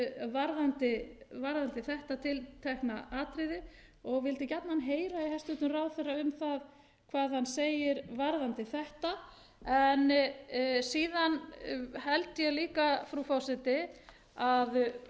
varðandi þetta tiltekna atriði og vildi gjarnan heyra í hæstvirtum ráðherra um það hvað hann segir varðandi þetta síðan held ég líka frú forseti að auk